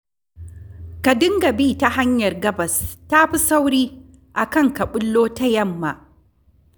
Ka dinga bi ta hanyar gabas ta fi sauri a kan ka ɓullo ta yamma